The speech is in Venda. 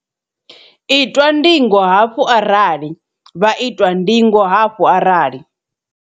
itwa ndingo hafhu arali vha itwa ndingo hafhu arali.